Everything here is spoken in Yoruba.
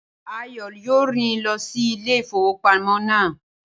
Ayọ̀ọlá yóò rìn lọ sí ilé ìfowópamọ́ náà.